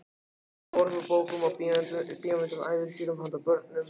Orð úr bókum og bíómyndum, ævintýrum handa börnum.